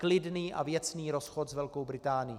Klidný a věcný rozchod s Velkou Británií.